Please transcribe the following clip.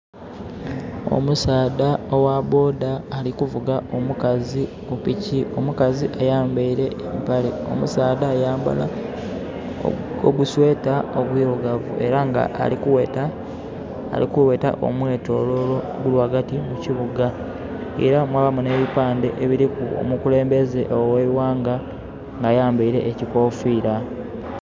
Omusaadha ogha boda alikuvuga omukazi ku piki. Omukazi ayambaile empale. Omusaadha, ya yambala ogu sweater ogwirugavu. Ela nga ali kugheta, ali kugheta omwetoloolo oguli ghagati mu kibuga. Ela mwabaamu n'epipande ebiliku omukulembeze gh'eighanga nga ayambaile ekikoofira.